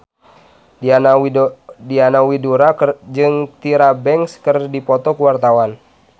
Diana Widoera jeung Tyra Banks keur dipoto ku wartawan